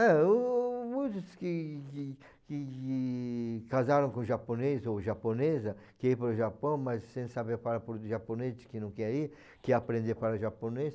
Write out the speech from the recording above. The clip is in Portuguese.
É, muitos que que que que casaram com japonês ou japonesa, quer ir para o Japão, mas sem saber falar puro japonês, diz que não quer ir, quer aprender a falar o japonês.